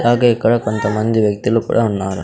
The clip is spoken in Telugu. అలాగే ఇక్కడ కొంతమంది వ్యక్తులు కుడా ఉన్నారు.